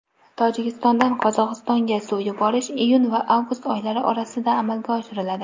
Tojikistondan Qozog‘istonga suv yuborish iyun va avgust oylari orasida amalga oshiriladi.